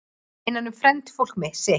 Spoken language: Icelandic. Innan um frændfólk sitt